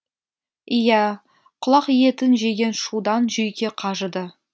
иә құлақ етін жеген шудан жүйке қажыды